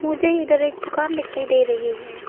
मुझे इधर एक दुकान दिखाई दे रही है।